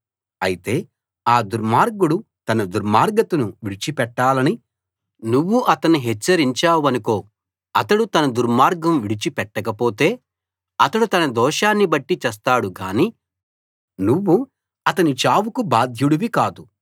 అయితే ఆ దుర్మార్గుడు తన దుర్మార్గతను విడిచిపెట్టాలని నువ్వు అతన్ని హెచ్చరించావనుకో అతడు తన దుర్మార్గం విడిచి పెట్టకపోతే అతడు తన దోషాన్ని బట్టి చస్తాడు గానీ నువ్వు అతని చావుకు బాధ్యుడివి కాదు